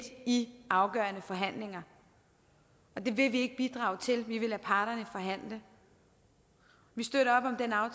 i afgørende forhandlinger det vil vi ikke bidrage til vi vil lade parterne forhandle vi støtter